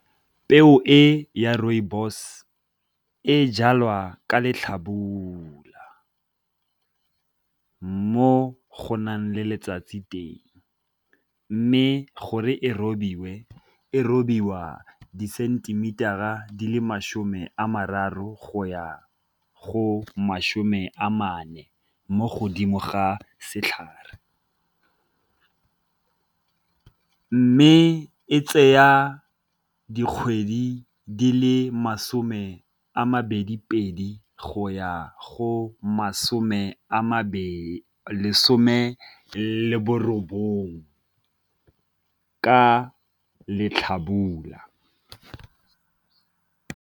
Peo e ya rooibos e jalwa ka letlhabula mo go nang le letsatsi teng, mme gore e robiwe e robiwa disentemitara a di le masome a mararo go ya go masome a mane mo godimo ga setlhare. Mme e tseya dikgwedi di le masome a mabedi pedi go ya go masome a mabedi, lesome le borobongwe ka letlhabula.